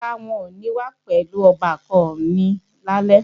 Rárá, n ò ní wá pẹ̀lú ọbàkan mi lálẹ́